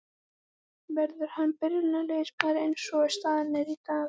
Verður hann byrjunarliðsmaður eins og staðan er í dag?